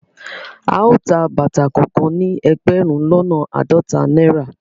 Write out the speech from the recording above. Ao tá bàtà kàn kàn ni ẹgbẹrun lọnà àádọta náírà